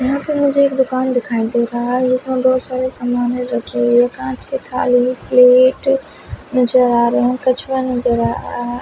यहां पर मुझे एक दुकान दिखाई दे रहा है इसमें बहोत सारे सामाने रखी हुई है कांच के थाली प्लेट नजर आ रहे है कछुआ नजर आ--